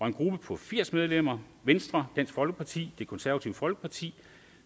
en gruppe på firs medlemmer venstre dansk folkeparti det konservative folkeparti